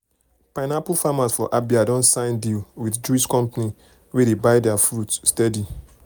pineapple farmers for abia don sign deal with juice company wey dey buy their fruit steady.